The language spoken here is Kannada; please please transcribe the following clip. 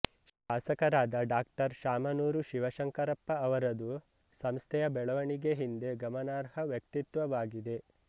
ಶಾಸಕರಾದ ಡಾ ಶಾಮನೂರು ಶಿವಶಂಕರಪ್ಪ ಅವರದು ಸಂಸ್ಥೆಯ ಬೆಳವಣಿಗೆ ಹಿಂದೆ ಗಮನಾರ್ಹ ವ್ಯಕ್ತಿತ್ವವಾಗಿದೆ